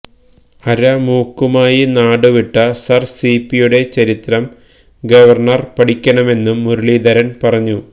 അര മൂക്കുമായി നാടുവിട്ട സര് സിപിയുടെ ചരിത്രം ഗവര്ണര് പഠിക്കണമെന്നും മുരളീധരന് പറഞ്ഞു